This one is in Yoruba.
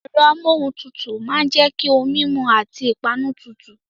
Ẹ̀rọ amuohuntutu máa ń jẹ́ kí ohun mímu àti ìpanu tutù.